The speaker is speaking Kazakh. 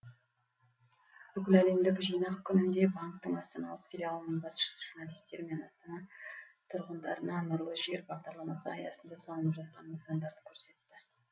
бүкіләлемдік жинақ күнінде банктің астаналық филиалының басшысы журналистер мен астана тұрғындарына нұрлы жер бағдарламасы аясында салынып жатқан нысандарды көрсетті